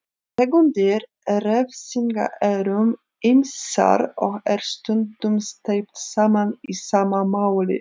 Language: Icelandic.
Tegundir refsinga eru ýmsar og er stundum steypt saman í sama máli.